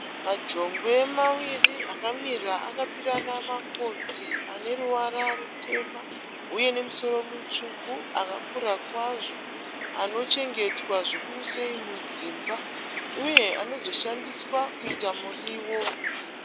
Majongwe maviri akamira akapirana makotsi. Ane ruvara rutema uye nemusoro mutsvuku. Akakura kwazvo. Anochengetwa zvikuru sei mudzimba uye anozoshandiswa kuita muriwo.